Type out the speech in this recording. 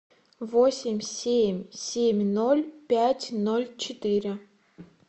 восемь семь семь ноль пять ноль четыре